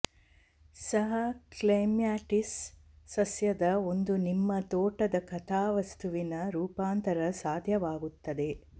ಸಹ ಕ್ಲೆಮ್ಯಾಟಿಸ್ ಸಸ್ಯದ ಒಂದು ನಿಮ್ಮ ತೋಟದ ಕಥಾವಸ್ತುವಿನ ರೂಪಾಂತರ ಸಾಧ್ಯವಾಗುತ್ತದೆ